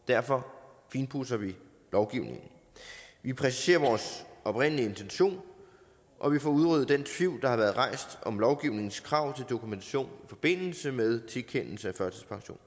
derfor finpudser vi lovgivningen vi præciserer vores oprindelige intention og vi får udryddet den tvivl der har været rejst om lovgivningens krav til dokumentation i forbindelse med tilkendelse af førtidspension